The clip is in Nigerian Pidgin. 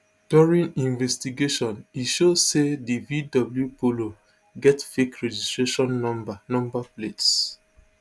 during investigations e show say di vw polo get fake registration number number plates